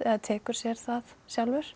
eða tekur sér það sjálfur